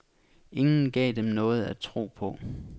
Ingen gav dem noget at tro på.